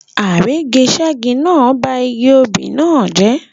Àrígiṣẹ́gi náà ba igi obì náà jẹ́.